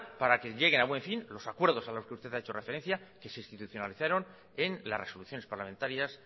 para que llegue a buen fin los acuerdos a los que usted ha hecho referencia que se institucionalizaron en las resoluciones parlamentarias